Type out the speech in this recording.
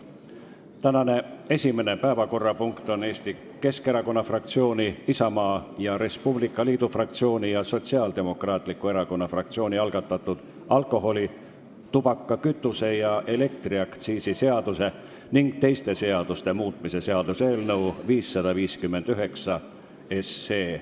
Tänane esimene päevakorrapunkt on Eesti Keskerakonna fraktsiooni, Isamaa ja Res Publica Liidu fraktsiooni ning Sotsiaaldemokraatliku Erakonna fraktsiooni algatatud alkoholi-, tubaka-, kütuse- ja elektriaktsiisi seaduse ning teiste seaduste muutmise seaduse eelnõu 559 kolmas lugemine.